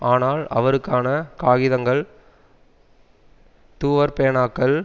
ஆனால் அவருக்கான காகிதங்கள் தூவற்பேனாக்கள்